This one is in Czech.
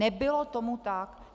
Nebylo tomu tak.